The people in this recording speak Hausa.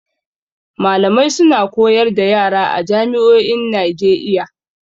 Malamai suna koyar da yara a jami'o'in Najeiya.